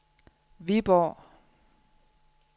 Viborg